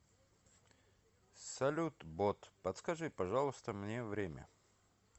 салют бот подскажи пожалуйста мне время